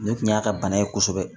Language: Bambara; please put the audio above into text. Nin kun y'a ka bana ye kosɛbɛ